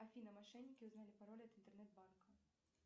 афина мошенники узнали пароль от интернет банка